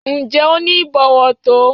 Ǹjẹ́ o ní ìbọ̀wọ̀ tó?